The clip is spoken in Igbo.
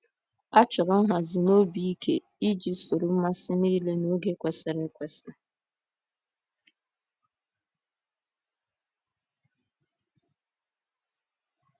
A chọrọ nhazi na obi ike iji soro mmasị niile n’oge kwesịrị ekwesị.